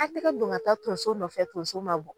An tɛgɛ don ka taa tonso nɔfɛ tonso ma bɔ.